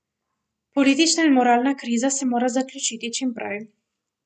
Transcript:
Politična in moralna kriza se mora zaključiti čim prej.